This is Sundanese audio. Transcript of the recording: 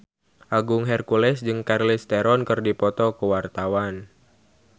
Agung Hercules jeung Charlize Theron keur dipoto ku wartawan